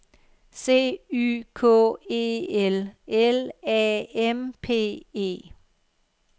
C Y K E L L A M P E